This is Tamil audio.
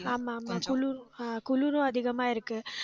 ஆமா, ஆமா குளிரும். ஆஹ் குளிரும் அதிகமா இருக்கு